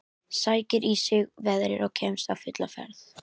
Sækir í sig veðrið og kemst á fulla ferð.